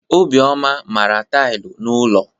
Obioma mara tailụ n'ụlọ.